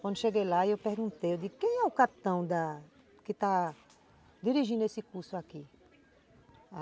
Quando cheguei lá, eu perguntei, eu disse, quem é o capitão da que está dirigindo esse curso aqui?